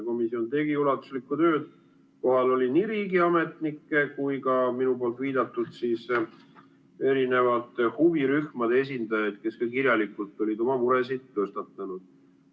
Komisjon tegi ulatuslikku tööd, kohal oli nii riigiametnikke kui ka minu viidatud huvirühmade esindajaid, kes olid ka kirjalikult oma muresid tõstatanud.